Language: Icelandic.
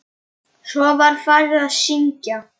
Svo var farið að syngja.